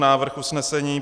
Návrh usnesení: